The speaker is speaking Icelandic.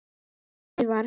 sagði Sævar.